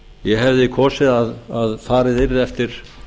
ég hefði kosið að farið yrði eftir